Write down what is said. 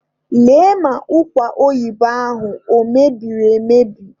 Lee ma ụkwa oyibo ahụ o mebiri emebi!